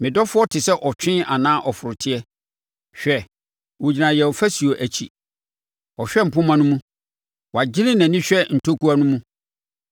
Me dɔfoɔ te sɛ ɔtwe anaa ɔforoteɛ. Hwɛ! Ɔgyina yɛn ɔfasuo akyi, ɔhwɛ mpomma no mu, wagyene nʼani hwɛ ntokua no mu.